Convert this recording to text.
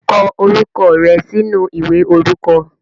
Kọ orúkọ rẹ sínú ìwé orúkọ.